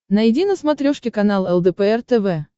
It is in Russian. найди на смотрешке канал лдпр тв